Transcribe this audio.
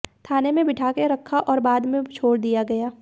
थाने में बिठाकर रखा आैर बाद में छोड़ दिया गया